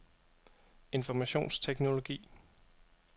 informationsteknologi